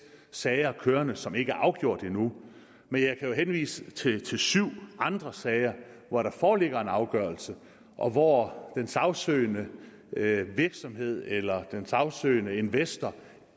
sager kørende som ikke er afgjort endnu men jeg kan jo henvise til syv andre sager hvor der foreligger en afgørelse og hvor den sagsøgende virksomhed eller den sagsøgende investor